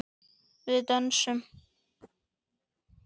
Við dönsum.